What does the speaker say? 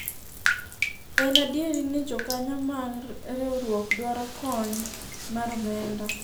en adier ni jokanyo mar riwruok dwaro kony mar omenda